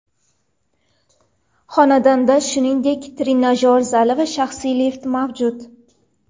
Xonadonda, shuningdek trenajyor zali va shaxsiy lift mavjud.